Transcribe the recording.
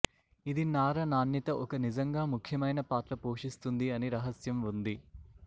ఇది నార నాణ్యత ఒక నిజంగా ముఖ్యమైన పాత్ర పోషిస్తుంది అని రహస్యం ఉంది